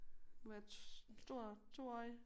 Må være et en stor 2-årig